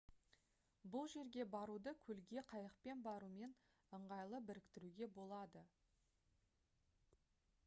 бұл жерге баруды көлге қайықпен барумен ыңғайлы біріктіруге болады